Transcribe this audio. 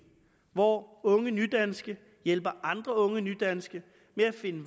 hvor unge nydanske hjælper andre unge nydanske med at finde